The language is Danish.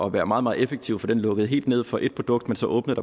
at være meget meget effektiv for den lukkede helt ned for et produkt men så åbnede